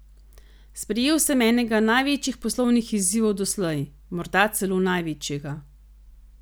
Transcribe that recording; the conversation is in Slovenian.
Sprejel sem enega največjih poslovnih izzivov doslej, morda celo največjega.